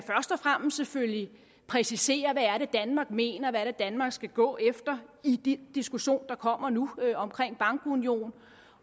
fremmest selvfølgelig præcisere hvad det er danmark mener hvad det er danmark skal gå efter i de diskussioner der kommer nu om bankunionen